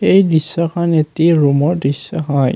এই দৃশ্যখন এটি ৰুমৰ দৃশ্য হয়।